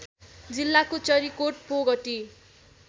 जिल्लाको चरीकोट पोगटी